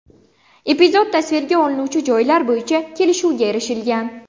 Epizod tasvirga olinuvchi joylar bo‘yicha kelishuvga erishilgan.